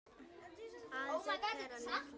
Aðeins einn þeirra lét lífið.